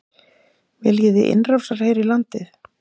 Viljiði innrásarher í landið?